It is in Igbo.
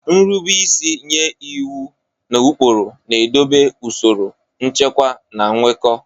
Nrube isi nye iwu na ụkpụrụ na-edobe usoro, nchekwa, na nkwekọ.